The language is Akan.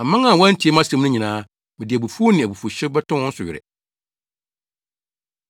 Aman a wɔantie mʼasɛm no nyinaa, mede abufuw ne abufuwhyew bɛtɔ wɔn so were.”